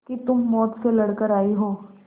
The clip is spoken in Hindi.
कि तुम मौत से लड़कर आयी हो